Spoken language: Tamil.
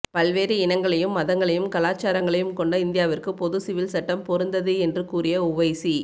பல்வேறு இனங்களையும் மதங்களையும் கலாட்சாரங்களையும் கொண்ட இந்தியாவிற்கு பொது சிவில் சட்டம் பொருந்தது என்று கூறிய உவைசி